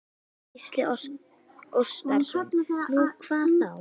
Gísli Óskarsson: Nú, hvað þá?